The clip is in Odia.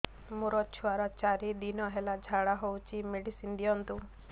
ମୋର ଛୁଆର ଚାରି ଦିନ ହେଲା ଝାଡା ହଉଚି ମେଡିସିନ ଦିଅନ୍ତୁ